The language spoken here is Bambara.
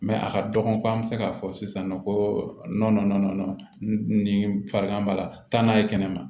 a ka dɔgɔ ko an bɛ se k'a fɔ sisan nɔ ko nɔnɔ nin farigan b'a la taa n'a ye kɛnɛma